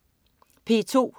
P2: